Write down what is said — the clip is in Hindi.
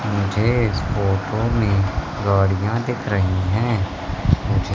मुझे इस फोटो में गाड़ियां दिख रही है मुझे--